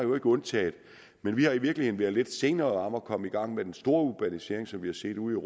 undtagelse men vi har i virkeligheden været lidt senere om at komme i gang med den store urbanisering som vi har set ude